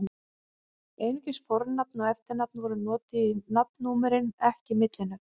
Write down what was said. Einungis fornafn og eftirnafn voru notuð í nafnnúmerin, ekki millinöfn.